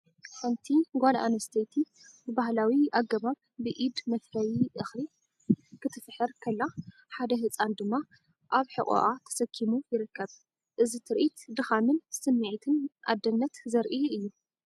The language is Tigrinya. ሓንቲ ጓል ኣንስተይቲ ብባህላዊ ኣገባብ ብኢድ መፍረዪ እኽሊ ክትፍሕር ከላ፡ ሓደ ህጻን ድማ ኣብ ሕቖኣ ተሰኪሙ ይርከብ። እዚ ትርኢት ድኻምን ስምዒትን ኣደነት ዘርኢ እዩ።